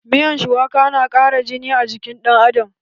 Miyan shuwaka na ƙara jini a jikin dan Adam.